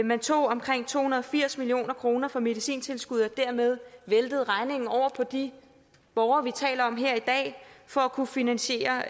man tog omkring to hundrede og firs million kroner fra medicintilskuddet og væltede dermed regningen over på de borgere vi taler om her i dag for at kunne finansiere